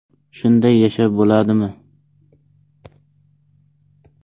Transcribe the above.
Shunday yashab bo‘ladimi?